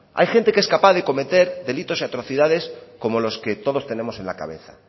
hay gente que es capaz de cometer delitos y atrocidades como los que todos tenemos en la cabeza